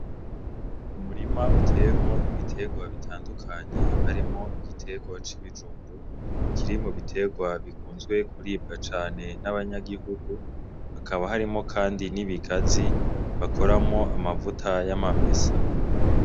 Umurima uteyemwo ibiterwa bitandukanye harimwo igiterwa c'ibijumbu kiri mu biterwa bikunzwe kuribwa cane n'abanyagihugu hakaba harimwo kandi n'ibigazi bakoramwo amavuta y'amamesa